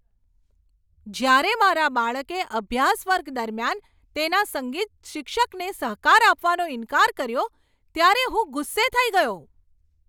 જ્યારે મારા બાળકે અભ્યાસ વર્ગ દરમિયાન તેના સંગીત શિક્ષકને સહકાર આપવાનો ઇન્કાર કર્યો, ત્યારે હું ગુસ્સે થઈ ગયો.